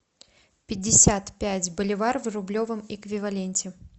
пятьдесят пять боливар в рублевом эквиваленте